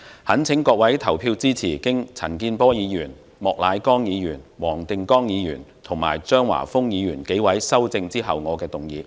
懇請各位投票支持經陳健波議員、莫乃光議員、黃定光議員及張華峰議員修正後的原議案。